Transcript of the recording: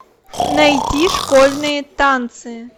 найти школьные танцы